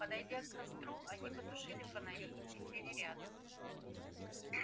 подойдя к костру они потушили фонари и присели рядом